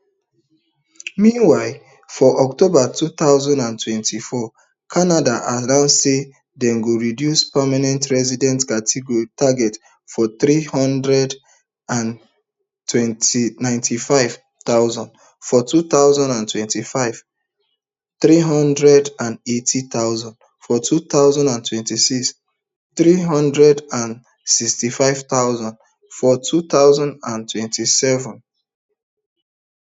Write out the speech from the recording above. meanwhile for october two thousand and twenty-fourcanada announce say dem go reduce permanent residencytargets from three hundred and ninety-five thousand for two thousand and twenty-five three hundred and eighty thousand for two thousand and twenty-six and three hundred and sixty-five thousand for two thousand and twenty-seven